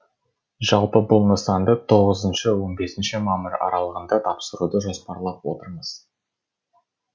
жалпы бұл нысанды тоғызыншы он бесінші мамыр аралығында тапсыруды жоспарлап отырмыз